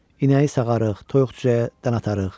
İnəyi sağarıq, toyuq-cücəyə dən atarıq.